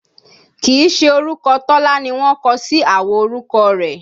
Kìí ṣe orúkọ Tọ́lá ni wọ́n kọsí àwo orúkọ rẹ̀